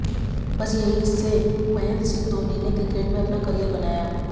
बस यही से महेन्द्र सिंह धोनी ने क्रिकेट में अपना कॅरियर बनाया